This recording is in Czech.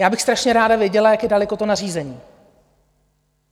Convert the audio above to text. Já bych strašně ráda věděla, jak je daleko to nařízení.